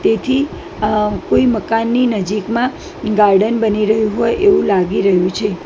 તેથી અ કોઈ મકાનની નજીકમાં ગાર્ડન બની રહ્યુ હોય એવુ લાગી રહ્યુ છે.